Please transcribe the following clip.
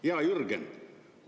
Hea Jürgen!